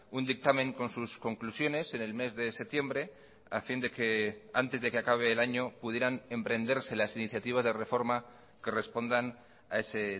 un dictamen con sus conclusiones en el mes de septiembre a fin de que antes de que acabe el año pudieran emprenderse las iniciativas de reforma que respondan a ese